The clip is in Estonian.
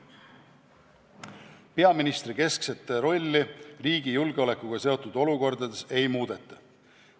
Peaministri keskset rolli riigi julgeolekuga seotud olukordades ei muudeta.